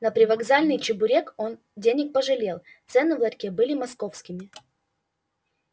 на привокзальный чебурек он денег пожалел цены в ларьке были московскими